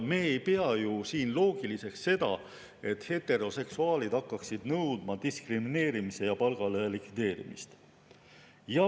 Me ei peaks ju loogiliseks seda, kui heteroseksuaalid hakkaksid siin nõudma diskrimineerimise ja palgalõhe likvideerimist.